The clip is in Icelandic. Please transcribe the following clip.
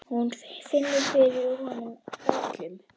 Hún finnur fyrir honum öllum.